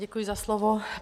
Děkuji za slovo.